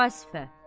Vasifə.